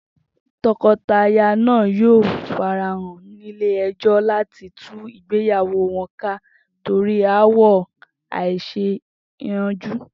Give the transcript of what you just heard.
To̩ko̩taya náà yóò farahàn nílé e̩jó̩ láti tú ìgbéyàwó wo̩n ká torí aáwò̩ àì-s̩eé-yànju